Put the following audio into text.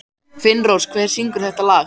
Finnrós, hver syngur þetta lag?